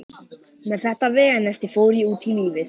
Með þetta veganesti fór ég út í lífið.